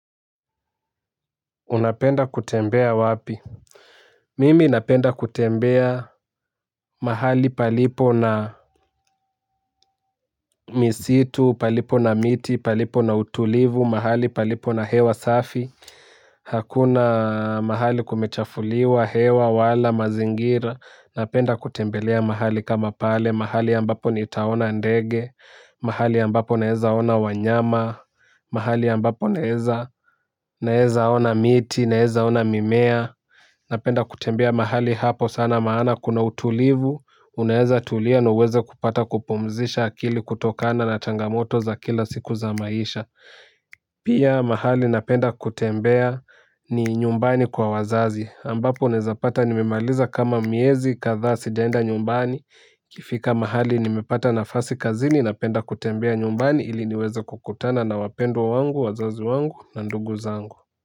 Unapenda kutembea wapi? Mimi napenda kutembea mahali palipo na misitu, palipo na miti, palipo na utulivu, mahali palipo na hewa safi. Hakuna mahali kumechafuliwa, hewa, wala, mazingira. Napenda kutembelea mahali kama pale, mahali ambapo nitaona ndege. Mahali ambapo naweza ona wanyama mahali ambapo naweza ona miti, naweza ona mimea. Napenda kutembea mahali hapo sana maana kuna utulivu. Unaweza tulia na uweze kupata kupumzisha akili kutokana na changamoto za kila siku za maisha pia mahali napenda kutembea ni nyumbani kwa wazazi ambapo unaweza pata nimemaliza kama miezi kadhaa sijaenda nyumbani ikifika mahali nimepata nafasi kazini napenda kutembea nyumbani ili niweze kukutana na wapendwa wangu, wazazi wangu na ndugu zangu.